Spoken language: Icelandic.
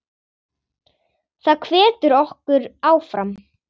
Það hvetur okkur áfram.